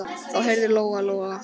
Þá heyrði Lóa-Lóa öskrin.